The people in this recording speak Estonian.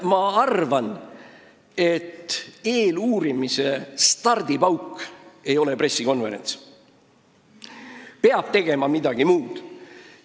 Ma arvan, et eeluurimise stardipauk ei ole pressikonverents, peaks tegema midagi muud.